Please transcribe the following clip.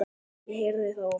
Ég heyrði það oft.